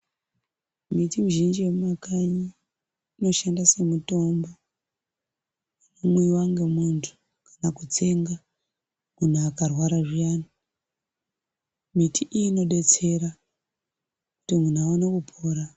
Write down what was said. Miti mizhinji yemumakanyi inoshanda semitombo. Ino mwiwa ngemuntu kana kutsenga, muntu akarwara zviyani. Miti iyi inodetsera kuti muntu aone kupora.